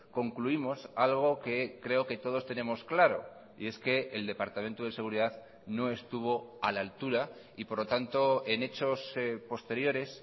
concluimos algo que creo que todos tenemos claro y es que el departamento de seguridad no estuvo a la altura y por lo tanto en hechos posteriores